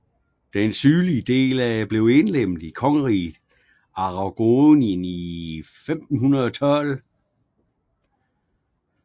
Den sydlige del blev indlemmet i Kongeriget Aragonien i 1512